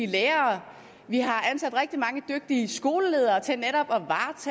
lærere og vi har ansat rigtig mange dygtige skoleledere til netop